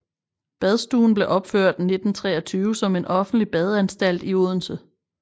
Badstuen blev opført i 1923 som en offentlig badeanstalt i Odense